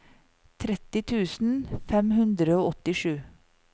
tretti tusen fem hundre og åttisju